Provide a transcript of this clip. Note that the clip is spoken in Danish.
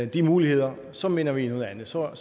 de muligheder så mener vi noget andet så er